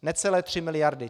Necelé 3 miliardy!